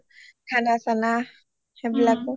খানা চানা সেইবিলাকয়ো